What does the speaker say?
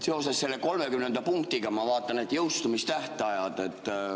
Seoses selle 30. punktiga ma vaatan jõustumistähtaegu.